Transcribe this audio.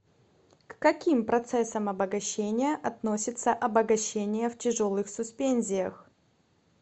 к каким процессам обогащения относится обогащение в тяжелых суспензиях